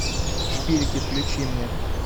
шпилики включи мне